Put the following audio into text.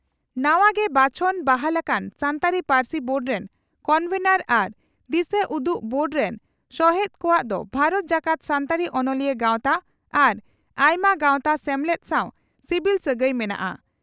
ᱱᱟᱣᱟ ᱜᱮ ᱵᱟᱪᱷᱚᱱ/ᱵᱟᱦᱟᱞ ᱟᱠᱟᱱ ᱥᱟᱱᱛᱟᱲᱤ ᱯᱟᱹᱨᱥᱤ ᱵᱳᱰ ᱨᱮᱱ ᱠᱚᱱᱵᱷᱮᱱᱚᱨ ᱟᱨ ᱫᱤᱥᱟᱹᱩᱫᱩᱜ ᱵᱳᱨᱰ ᱨᱮᱱ ᱥᱚᱦᱮᱛ ᱠᱚᱣᱟᱜ ᱫᱚ ᱵᱷᱟᱨᱚᱛ ᱡᱟᱠᱟᱛ ᱥᱟᱱᱛᱟᱲᱤ ᱚᱱᱚᱞᱤᱭᱟᱹ ᱜᱟᱣᱛᱟ ᱟᱨ ᱟᱭᱢᱟ ᱜᱟᱣᱛᱟ/ᱥᱮᱢᱞᱮᱫ ᱥᱟᱣ ᱥᱤᱵᱤᱞ ᱥᱟᱹᱜᱟᱹᱭ ᱢᱮᱱᱟᱜᱼᱟ ᱾